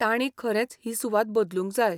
तांणी खरेंच ही सुवात बदलूंक जाय.